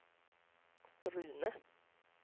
Rune